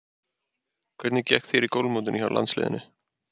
Hvernig gekk þér í golfmótinu hjá landsliðinu?